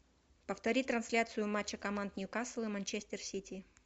повтори трансляцию матча команд ньюкасл и манчестер сити